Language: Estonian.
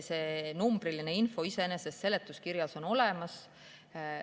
See numbriline info on seletuskirjas olemas.